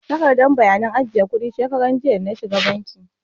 Manajan bankin yuniyon ne ya ba ni takardar bayanan ajiye kuɗi shekaran jiya da na shiga banki.